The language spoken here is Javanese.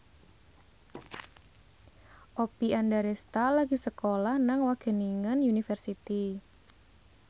Oppie Andaresta lagi sekolah nang Wageningen University